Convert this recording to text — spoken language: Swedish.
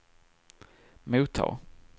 mottag